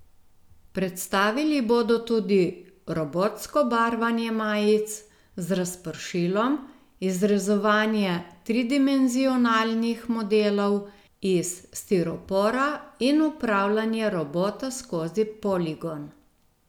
Predstavili bodo tudi robotsko barvanje majic z razpršilom, izrezovanje tridimenzionalnih modelov iz stiropora in upravljanje robota skozi poligon.